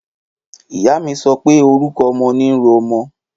Ìyá mi sọpẹ; orúkọ ọmọ ni ro ọmọ